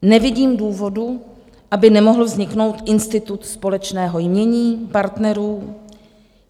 Nevidím důvodu, aby nemohl vzniknout institut společného jmění partnerů.